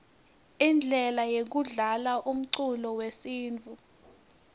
indlele yekudlalaumculo wesintfu